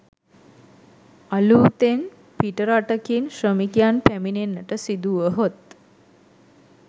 අලූතෙන් පිටරටකින් ශ්‍රමිකයන් පැමිණෙන්නට සිදුවුවහොත්